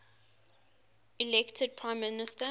elected prime minister